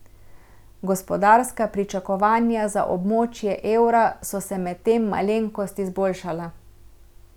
Gospodarska pričakovanja za območje evra so se medtem malenkost izboljšala.